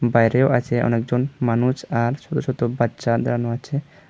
বাইরেও আছে অনেকজন মানুষ আর ছোট ছোট বাচ্চা দাঁড়ানো আছে।